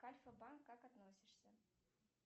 к альфа банк как относишься